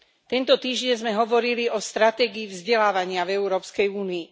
Tento týždeň sme hovorili o stratégii vzdelávania v Európskej únii.